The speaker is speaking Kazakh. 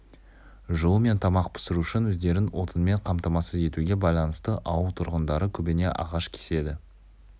жылу мен тамақ пісіру үшін өздерін отынмен қамтамасыз етуге байланысты ауыл тұрғындары көбіне ағаш кеседі